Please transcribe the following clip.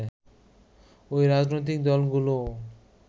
ও রাজনৈতিক দলগুলোও